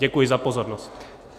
Děkuji za pozornost.